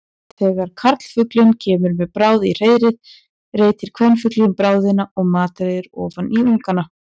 Þegar karlfuglinn kemur með bráð í hreiðrið reitir kvenfuglinn bráðina og matreiðir ofan í ungana.